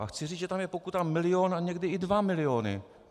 A chci říci, že tam je pokuta milion a někdy i dva miliony.